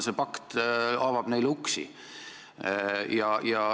See pakt avab neile uksi.